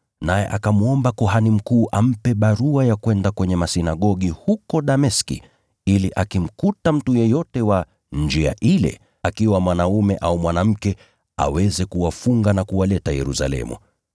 naye akamwomba kuhani mkuu ampe barua za kwenda kwenye masinagogi huko Dameski, ili akimkuta mtu yeyote wa Njia Ile, akiwa mwanaume au mwanamke, aweze kuwafunga na kuwaleta Yerusalemu.